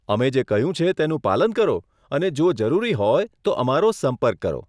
અમે જે કહ્યું છે તેનું પાલન કરો અને જો જરૂરી હોય તો અમારો સંપર્ક કરો.